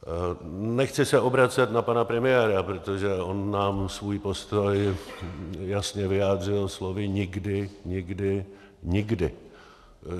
Nechci se obracet na pana premiéra, protože on nám svůj postoj jasně vyjádřil slovy nikdy, nikdy, nikdy.